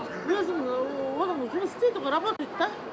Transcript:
өзін ыыы оның жұмыс істейді ғой работает да